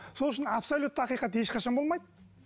сол үшін абслоютті ақиқат ешқашан болмайды